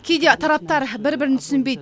кейде тараптар бір бірін түсінбейді